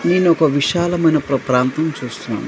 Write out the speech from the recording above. నేను ఒక విశాలమైన ప్ర ప్రాంతం చూస్తున్నాను.